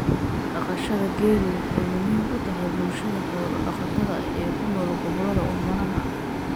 Dhaqashada geelu waxay muhiim u tahay bulshada xoolo-dhaqatada ah ee ku nool gobollada oomanaha ah.